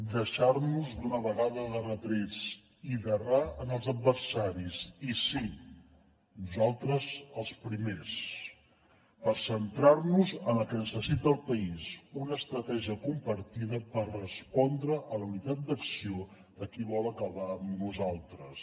deixar nos d’una vegada de retrets i d’errar en els adversaris i sí nosaltres els primers per centrar nos en el que necessita el país una estratègia compartida per respondre a la unitat d’acció de qui vol acabar amb nosaltres